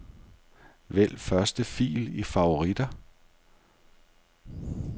Vælg første fil i favoritter.